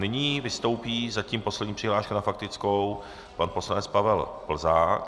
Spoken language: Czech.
Nyní vystoupí zatím poslední přihláška na faktickou pan poslanec Pavel Plzák.